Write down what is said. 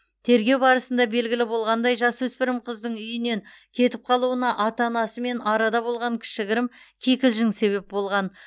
тергеу барысында белгілі болғандай жасөспірім қыздың үйінен кетіп қалуына ата анасымен арада болған кішігірім кикілжің себеп болған